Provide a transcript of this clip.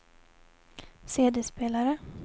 CD-spelare